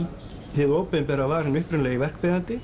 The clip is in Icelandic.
hið opinbera var hinn upprunalegi